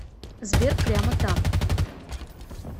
сбер прямо там